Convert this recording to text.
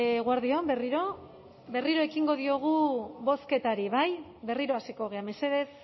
eguerdi on berriro berriro ekingo diogu bozketari bai berriro hasiko gara mesedez